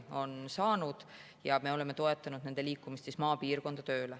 Me oleme toetanud tööleminemist maapiirkonda.